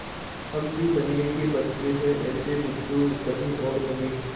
हम भी बनिये के बच्चे हैं ऐसे बुद्धू कहीं और होंगे